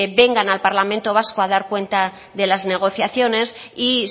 vengan al parlamento vasco a dar cuenta de las negociaciones y